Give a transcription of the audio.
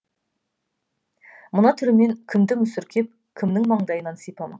мына түрімен кімді мүсіркеп кімнің маңдайынан сипамақ